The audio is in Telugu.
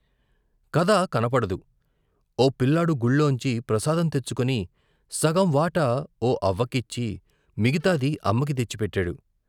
కథ కనబడదు. ఓ పిల్లాడు గుళ్ళోంచి ప్రసాదం తెచ్చుకుని, సగం వాటా, ఓ అవ్వకిచ్చి, మిగతాది అమ్మకి తెచ్చిపెట్టాడు.